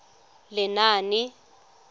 lenaane